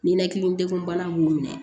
Ninakili degun bana b'u minɛ